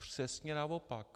Přesně naopak.